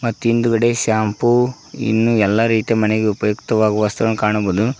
ಹಿಂದ್ಗಡೆ ಶಾಂಪು ಇನ್ನು ಎಲ್ಲ ರೀತಿ ಮನೆಗೆ ಉಪಯುಕ್ತವಾಗುವ ವಸ್ತುಗಳನ್ನು ಕಾಣಬೋದು.